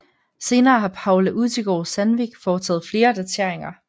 Senere har Paula Utigard Sandvik foretaget flere dateringer